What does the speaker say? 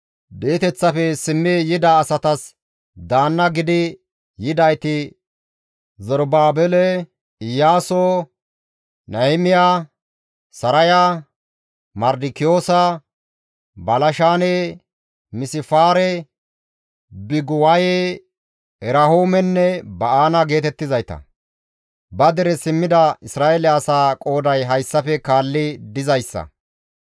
Di7eteththafe simmi yida asatas daanna gidi yidayti Zerubaabele Iyaaso, Nahimiya, Saraya, Mardikiyoosa, Balshaane, Misifaare, Biguwaye, Erehuumenne Ba7aana geetettizayta. Ba dere simmida Isra7eele asaa qooday hayssafe kaalli dizayssa;